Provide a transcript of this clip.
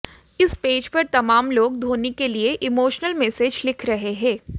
इस पेज पर तमाम लोग धोनी के लिए इमोशनल मैसज लिख रहे हैं